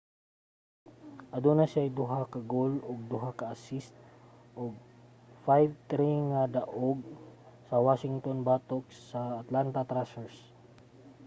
aduna siyay 2 ka goal ug 2 ka assist sa 5-3 nga daog sa washington batok sa atlanta thrashers